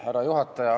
Härra juhataja!